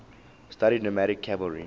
studied nomadic cavalry